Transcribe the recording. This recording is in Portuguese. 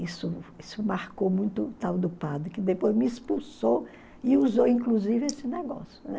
Isso isso marcou muito o tal do padre, que depois me expulsou e usou, inclusive, esse negócio, né?